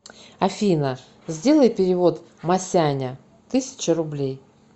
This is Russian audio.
афина сделай перевод масяня тысяча рублей